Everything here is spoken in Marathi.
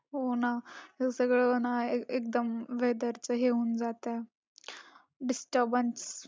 हो ना. हे सगळं ना एकदम weather चे हे होऊन जातं. disturbance